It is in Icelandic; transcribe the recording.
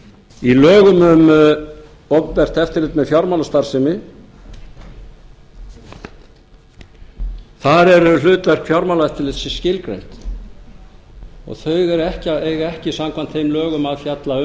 í lögum um opinbert eftirlit með fjármálastarfsemi þar eru hlutverk fjármálaeftirlitsins skilgreind þau eiga ekki samkvæmt þeim lögum að fjalla